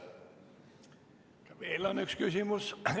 Veel on üks küsimus.